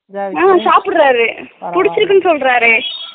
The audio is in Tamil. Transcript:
உம் சாபிட்டராரேபிடிச்சிருக்குன்னு சொல்றாரே